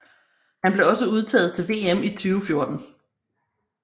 Han blev også udtaget til VM i 2014